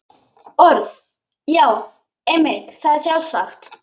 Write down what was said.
Orð.- Já, einmitt, það er sjálfsagt.